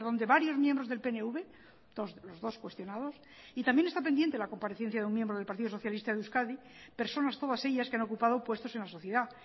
de varios miembros del pnv los dos cuestionados y también está pendiente la comparecencia de un miembro del partido socialista de euskadi personas todas ellas que han ocupado puestos en la sociedad